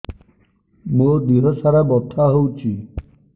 ମୋ ଦିହସାରା ବଥା ହଉଚି